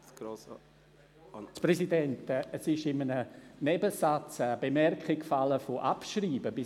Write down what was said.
Herr Präsident, in einem Nebensatz ist eine Bemerkung bezüglich des Abschreibens gefallen.